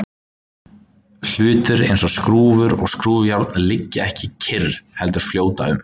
Hlutir eins og skrúfur og skrúfjárn liggja ekki kyrr heldur fljóta um.